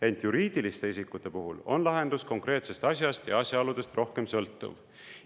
Ent juriidiliste isikute puhul on lahendus konkreetsest asjast ja asjaoludest rohkem sõltuv.